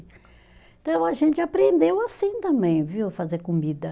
Então a gente aprendeu assim também, viu, fazer comida.